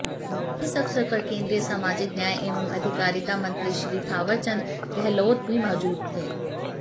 इस अवसर पर केन्द्रीय सामाजिक न्याय एवं अधिकारिता मंत्री श्री थावरचंद गहलोत भी मौजूद थे